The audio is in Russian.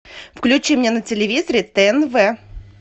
включи мне на телевизоре тнв